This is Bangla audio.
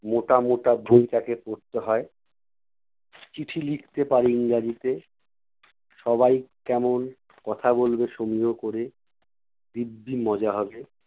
মোটা মোটা বই তাকে পড়তে হয়। চিঠি লিখতে পারে ইংরাজিতে। সবাই কেমন কথা বলবে সমীহ করে। দিব্যি মজা হবে।